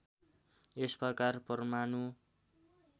यस प्रकार परमाणु